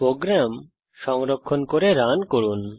programme সংরক্ষণ করে run করুন